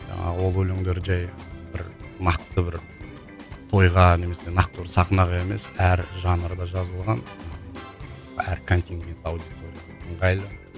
жаңағы ол өлеңдер жай бір нақты бір тойға немесе нақты бір сахнаға емес әр жанрда жазылған әр контингент аудиторияға ыңғайлы